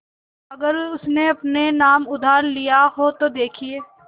अगर उसने अपने नाम उधार लिखा हो तो देखिए